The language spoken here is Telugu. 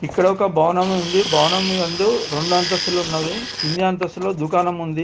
ఇక్కడ ఒక భవనం ఉంది. భవనం యందు రెండు అంతస్తులు ఉన్నవి. కింది అంతస్తులో దుకాణం ఉంది.